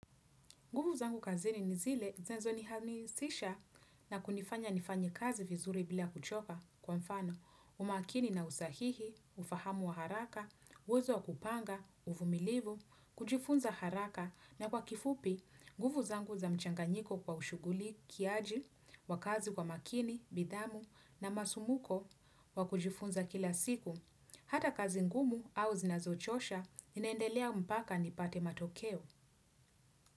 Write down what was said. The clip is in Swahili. Nguvu zangu kazini nizile, zinazonihamisisha na kunifanya nifanye kazi vizuri bila kuchoka kwa mfano, umakini na usahihi, ufahamu wa haraka, uwezo wa kupanga, uvumilivu, kujifunza haraka na kwa kifupi, nguvu zangu za mchanganyiko kwa ushughulikiaji, wakazi kwa makini, nidhamu na masumbuko wa kujifunza kila siku. Hata kazi ngumu au zinazochosha, inaendelea mpaka nipate matokeo.